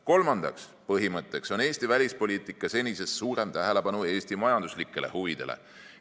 Kolmandaks põhimõtteks on Eesti välispoliitika senisest suurem tähelepanu Eesti majanduslikele huvidele.